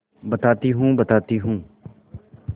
बताती हूँ बताती हूँ